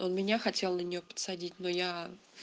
он меня хотел на нее подсадить но я